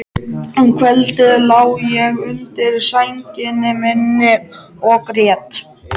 Um kvöldið lá ég undir sænginni minni og grét.